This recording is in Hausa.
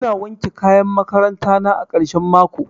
Ina wanke kayan makaranta na a karshen mako